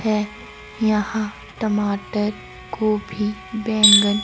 है यहां टमाटर गोभी बैंगन--